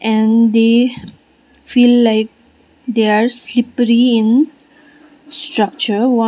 and they feel like they are slippery in structure wa --